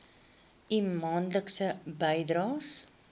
u maandelikse bydraes